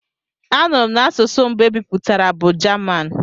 A nụrụ m n'asụsụ mbụ e bipụtara bụ Jaman.